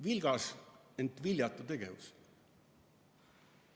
Vilgas, ent viljatu tegevus.